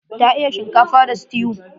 Ta iya shinkafa da stew.